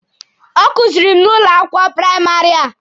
Ọ kuziiri m n'ụlọ akwụkwọ praịmarị a.